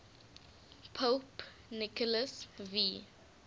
pope nicholas v